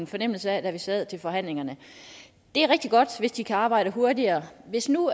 fornemmelse af da vi sad til forhandlingerne det er rigtig godt hvis de kan arbejde hurtigere hvis nu